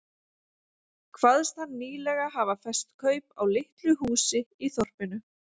Kvaðst hann nýlega hafa fest kaup á litlu húsi í þorpinu